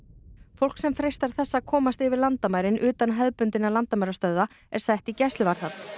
fólk sem freistar þess að komast yfir landamærin utan hefðbundinna landamærastöðva er sett í gæsluvarðhald